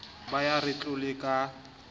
ba ya re tlole ka